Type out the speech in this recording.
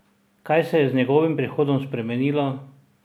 Kaj se je z njegovim prihodom spremenilo?